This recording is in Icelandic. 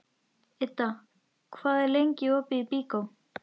Idda, hvað er lengi opið í Byko?